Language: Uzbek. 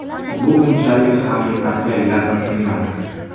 Bu unchalik haqiqatga yaqin emas.